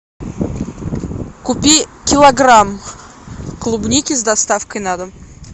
купи килограмм клубники с доставкой на дом